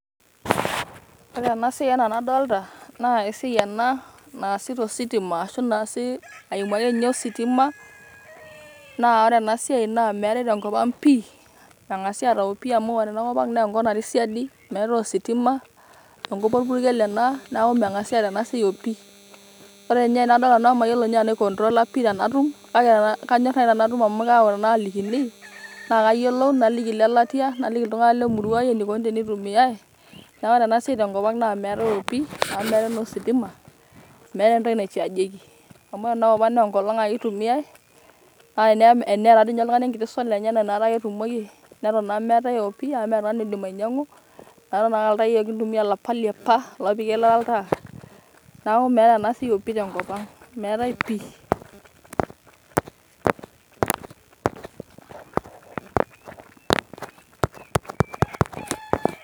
Ore ena siai ena enadolta naa esiai ena naasi tositima arashu naasi aimu akeenye ositima, na ore enasiai meetai tenkop aang pii, mengasi ata tenkop ang pii amu ore enkop ang na enkop natii siadi nemeetai ositima amu orpurkel ena neaku mengasai aata ena siai opii, Ore nye anadol nanu mayiolo nye nanu ai controla tanatum kake kanyor nayiake tanatum amu kalikini nayiolou naliki lelatia, naliki ltunganak lemurua aai eneikuni teneitumiai ,na ore enasl siai tenkop ang meetai oshi amu meetai ositima ,meeta entoki nai chargieki amu ore enakopang na enkolong ake itumiai ,ee eneeta duo oltungani enkiti solar enye metaa ketumiai arashu meetai opii metaa miindim ainyangu ,atan aa ltai ake yiok kintumia laapa leapa opiki eilata oltaa ,neaku meeta ena tenkop ang, meetai pii [break]